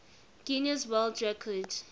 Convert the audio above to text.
guinness world record